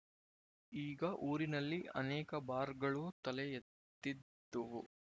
ಈಗ ಊರಿನಲ್ಲಿ ಅನೇಕ ಬಾರ್‍ಗಳೂ ತಲೆ ಎತ್ತಿದ್ದುವು